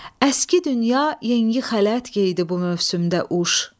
Əski dünya yengi xələt geydi bu mövsümdə uş.